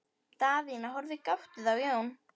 Daðína horfði gáttuð á Jón.